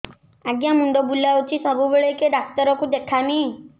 ଆଜ୍ଞା ମୁଣ୍ଡ ବୁଲାଉଛି ସବୁବେଳେ କେ ଡାକ୍ତର କୁ ଦେଖାମି